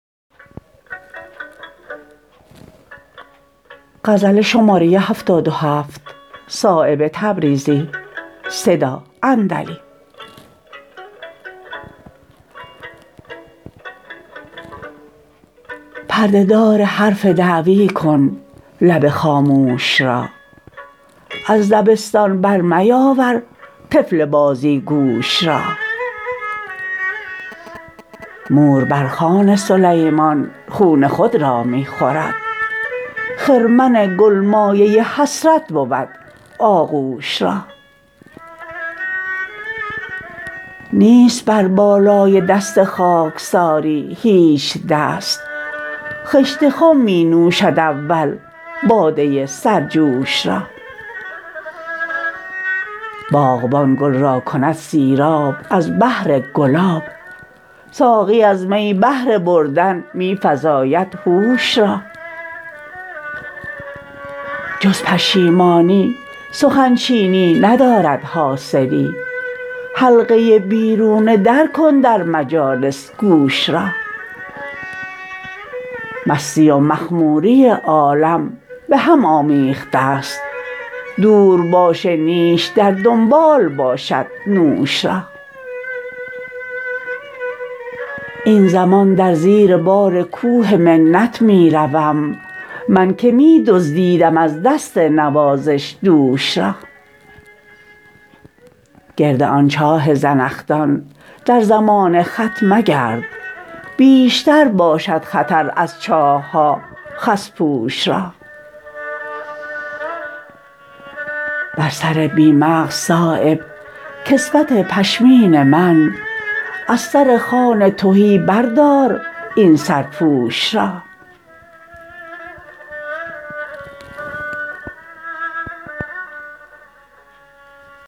پرده دار حرف دعوی کن لب خاموش را از دبستان بر میاور طفل بازیگوش را مور بر خوان سلیمان خون خود را می خورد خرمن گل مایه حسرت بود آغوش را نیست بر بالای دست خاکساری هیچ دست خشت خم می نوشد اول باده سرجوش را باغبان گل را کند سیراب از بهر گلاب ساقی از می بهر بردن می فزاید هوش را جز پشیمانی سخن چینی ندارد حاصلی حلقه بیرون در کن در مجالس گوش را مستی و مخموری عالم به هم آمیخته است دور باش نیش در دنبال باشد نوش را این زمان در زیر بار کوه منت می روم من که می دزدیدم از دست نوازش دوش را گرد آن چاه زنخدان در زمان خط مگرد بیشتر باشد خطر از چاه ها خس پوش را بر سر بی مغز صایب کسوت پشمین منه از سر خوان تهی بردار این سرپوش را